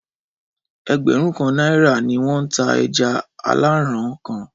Ẹgbẹ̀rún kan náírà ni wọ́n ń ta ẹja aláràn-án kan.